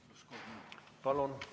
Palun!